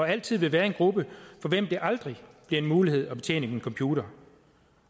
altid være en gruppe for hvem det aldrig bliver en mulighed at betjene en computer